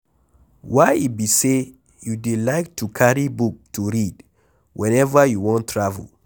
Why e be say you dey like to carry book to read whenever you wan travel.